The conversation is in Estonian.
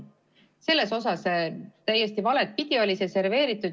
Selles mõttes oli see täiesti valepidi serveeritud.